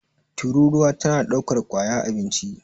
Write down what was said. tururuwa tana daukar kwaya abinci